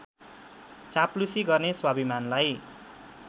चाप्लुसी गर्ने स्वाभिमानलाई